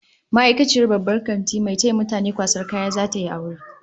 Ma'aikaciyar babban kantin mai taya mutane kwasan kaya, zata yi aure